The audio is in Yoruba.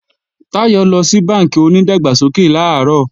Táyọ̀ lọ sí bánkì onídàgbàsókè làárọ̀